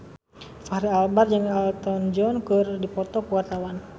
Fachri Albar jeung Elton John keur dipoto ku wartawan